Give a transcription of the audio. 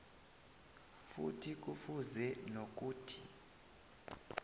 futhi kufuze nokuthi